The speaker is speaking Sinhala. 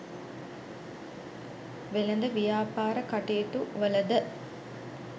වෙළෙඳ ව්‍යාපාර කටයුතුවල ද